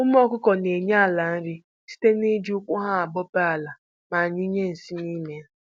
Ụmụ ọkụkụ na-enye ala nri site na-iji ụkwụ ha abọpe ala ma nyụnye nsị n'ime ya